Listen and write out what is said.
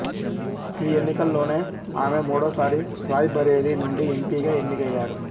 ఈ ఎన్నికల్లోనే ఆమె మూడోసారి రాయ్ బరేలీ నుండి ఎంపిగా ఎన్నికయ్యారు